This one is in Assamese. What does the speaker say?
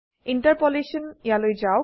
ইণ্টাৰপোলেশ্যন ইয়ালৈ যাওক